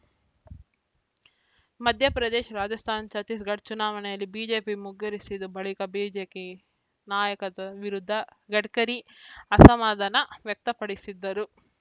ಮಧ್ಯಪ್ರದೇಶ ರಾಜಸ್ಥಾನ ಛತ್ತೀಸ್‌ಗಢ ಚುನಾವಣೆಯಲ್ಲಿ ಬಿಜೆಪಿ ಮುಗ್ಗರಿಸಿದ ಬಳಿಕ ಬಿಜೆಕಿ ನಾಯಕತ್ವದ ವಿರುದ್ಧ ಗಡ್ಕರಿ ಅಸಮಾಧಾನ ವ್ಯಕ್ತಪಡಿಸಿದ್ದರು